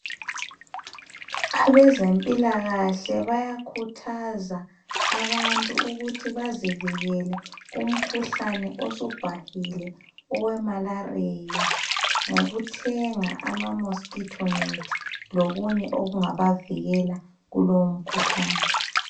Abezempilakahle bayakhuthaza ukuthi abantu bazivikele umkhuhlane osubhahile owemalaria ngokuthenga ama mosquito net lokunye okungabavikele kulowo mkhuhlane